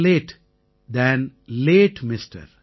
late தன் late MR